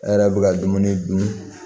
A yɛrɛ bɛ ka dumuni dun